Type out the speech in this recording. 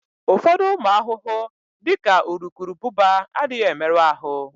Ụfọdụ ụmụ ahụhụ, dị ka urukurubụba, adịghị emerụ ahụ.